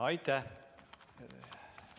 Aitäh!